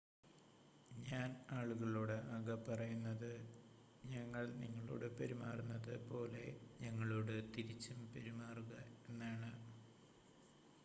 ഞാൻ ആളുകളോട് ആകെ പറയുന്നത് ഞങ്ങൾ നിങ്ങളോട് പെരുമാറുന്നത് പോലെ ഞങ്ങളോട് തിരിച്ചും പെരുമാറുക എന്നാണ്